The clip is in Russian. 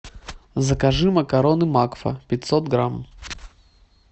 закажи макароны макфа пятьсот грамм